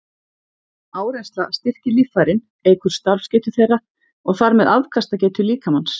Áreynsla styrkir líffærin, eykur starfsgetu þeirra og þar með afkastagetu líkamans.